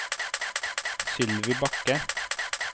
Sylvi Bakke